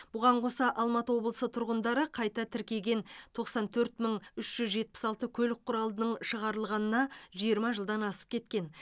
бұған қоса алматы облысы тұрғындары қайта тіркеген тоқсан төрт мың үш жүз жетпіс алты көлік құралының шығарылғанына жиырма жылдан асып кеткен